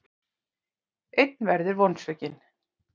Einn verður vonsvikinn.